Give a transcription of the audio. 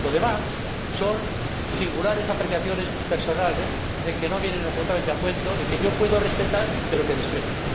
lo demás son singulares apreciaciones personales que no vienen absolutamente a cuento y que yo puedo respetar, pero que desprecio.